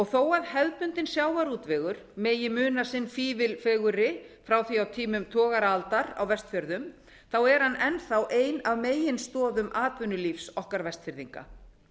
þó að hefðbundinn sjávarútvegur megi muna sinn fífil fegurri frá því á tímum togaraaldar á vestfjörðum er hann enn þá ein af meginstoðum atvinnulífs okkar vestfirðinga